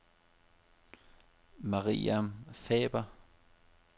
Mariam Faber